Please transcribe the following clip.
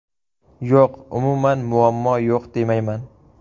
Yo‘q, umuman muammo yo‘q demayman.